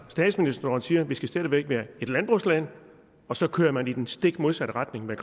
statsministeren siger at vi stadig væk skal være et landbrugsland og så kører man i den stik modsatte retning med